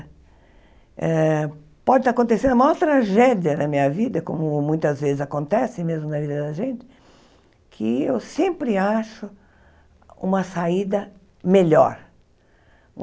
Eh pode estar acontecendo a maior tragédia da minha vida, como muitas vezes acontece mesmo na vida da gente, que eu sempre acho uma saída melhor.